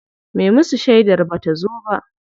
Me musu shedar bata zo ba.